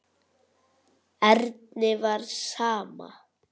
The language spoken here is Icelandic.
Erni var sama.